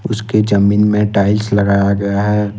उसके जमीन में टाइल्स लगाया गया है।